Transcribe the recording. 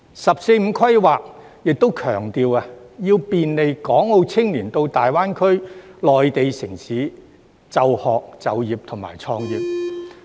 "十四五"規劃亦強調，要便利港澳青年到大灣區的內地城市就學、就業和創業。